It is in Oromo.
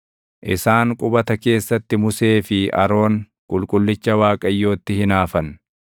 Isaan qubata keessatti Musee fi Aroon qulqullicha Waaqayyootti hinaafan.